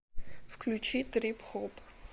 включи трип хоп